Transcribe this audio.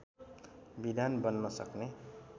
विधान बन्न सक्ने